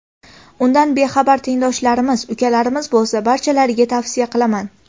Undan bexabar tengdoshlarimiz, ukalarimiz bo‘lsa, barchalariga tavsiya qilaman.